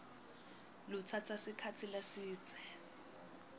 lutsatsa sikhatsi lesidze